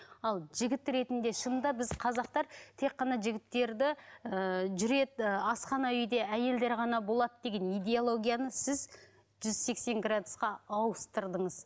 ал жігіт ретінде шынында біз қазақтар тек қана жігіттерді ііі жүреді асхана үйде әйелдер ғана болады деген идеологияны сіз жүз сексен градусқа ауыстырдыңыз